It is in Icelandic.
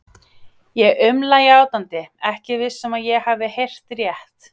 Ég umla játandi, ekki viss um að ég hafi heyrt rétt.